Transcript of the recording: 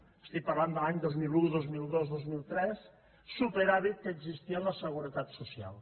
estic parlant de l’any dos mil un dos mil dos dos mil tres superàvit que existia en la seguretat social